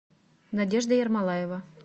надежда ермолаева